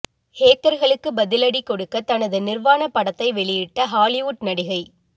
ஹேக்கர்களுக்கு பதிலடி கொடுக்க தனது நிர்வாண படத்தையே வெளியிட்ட ஹாலிவுட் நடிகை